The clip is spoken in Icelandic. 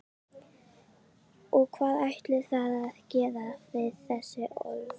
Og hvað ætlið þér að gera við þessi orð?